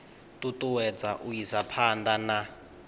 ṱuṱuwedza u isa phanḓa na